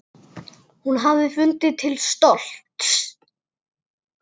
Hún hefði fundið til stolts.